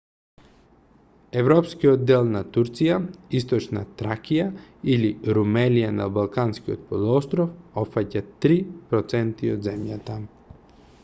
европскиот дел на турција источна тракија или румелија на балканскиот полуостров опфаќа 3 % од земјата